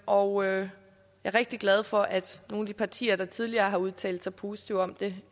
og jeg er rigtig glad for at nogle af de partier der tidligere har udtalt sig positivt om det